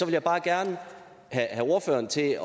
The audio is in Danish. jeg bare gerne have ordføreren til